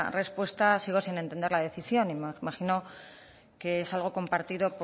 respuesta sigo sin entender la decisión y me imagino que es algo compartido